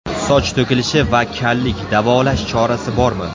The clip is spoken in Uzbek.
Soch to‘kilishi va kallik: davolash chorasi bormi?!.